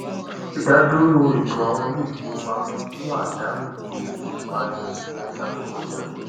ìdádúró ètò àwọn ilé ìfowópamọ mú àdánù gbóògì wá ní oṣù méta tó kọ ja